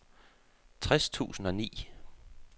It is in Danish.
tres tusind og ni